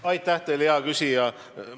Aitäh teile, hea küsija!